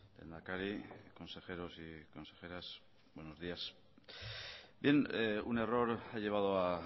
lehendakari consejeros y consejeras buenos días bien un error ha llevado a